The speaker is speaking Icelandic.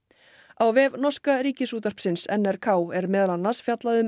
á vef norska Ríkisútvarpsins n r k er meðal annars fjallað um